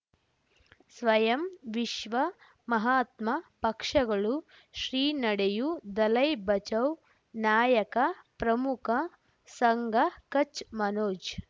ಸ್ವಯಂ ವಿಶ್ವ ಮಹಾತ್ಮ ಪಕ್ಷಗಳು ಶ್ರೀ ನಡೆಯೂ ದಲೈ ಬಚೌ ನಾಯಕ ಪ್ರಮುಖ ಸಂಘ ಕಚ್ ಮನೋಜ್